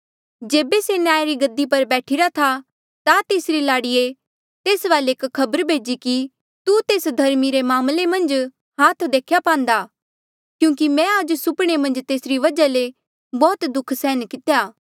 जेबे से न्याया री गद्दी पर बैठीरा था ता तेसरी लाड़िए तेस वाले एक खबर भेजी कि तू तेस धर्मी रे मामले मन्झ हाथ देख्या पांदा क्यूंकि मैं आज सुपणे मन्झ तेसरी वजहा ले बौह्त दुःख सैहन कितेया